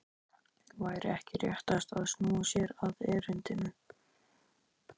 Væri ekki réttast að snúa sér að erindinu?